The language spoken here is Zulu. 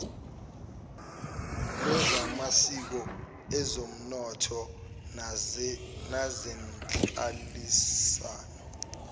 lwezamasiko ezonomnotho nezenhlalisano